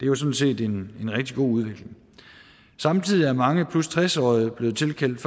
jo sådan set en rigtig god udvikling samtidig er mange 60 årige blevet tilkendt